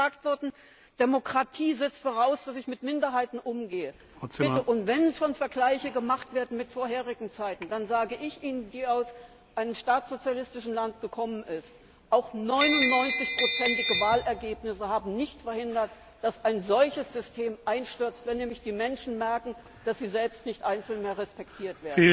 Es ist vorhin gesagt worden, Demokratie setzt voraus, dass ich mit Minderheiten umgehe. Bitte, wenn schon Vergleiche gemacht werden mit früheren Zeiten, dann sage ich, die aus einem ehemals staatssozialistischen Land kommt, Ihnen Auch 99ige Wahlergebnisse haben nicht verhindert, dass ein solches System einstürzt, wenn nämlich die Menschen merken, dass sie selbst einzeln nicht mehr respektiert